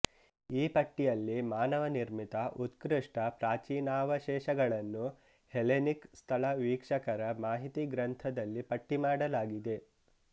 ಈ ಪಟ್ಟಿಯಲ್ಲಿ ಮಾನವನಿರ್ಮಿತ ಉತ್ಕೃಷ್ಟ ಪ್ರಾಚೀನಾವಶೇಷಗಳನ್ನು ಹೆಲೆನಿಕ್ ಸ್ಥಳ ವೀಕ್ಷಕರ ಮಾಹಿತಿ ಗ್ರಂಥದಲ್ಲಿ ಪಟ್ಟಿ ಮಾಡಲಾಗಿದೆ